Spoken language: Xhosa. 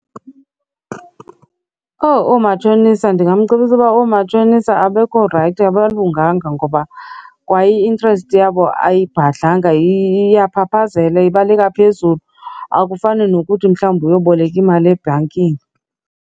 Owu, oomatshonisa! Ndingamcebisa uba oomatshonisa abekho rayithi, abangalunganga ngoba kwa i-interest yabo ayibhadlanga iyabaphaphazela, ibaleka phezulu. Akufani nokuthi mhlawumbi uyoboleka imali ebhankini.